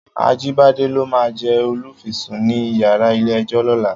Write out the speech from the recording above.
Ajibade ló má jè ólúfìsún ni iyàrá ilé èjò lòlá